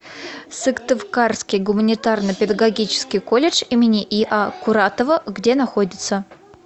сыктывкарский гуманитарно педагогический колледж им и а куратова где находится